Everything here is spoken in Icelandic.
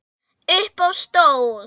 Upp á stól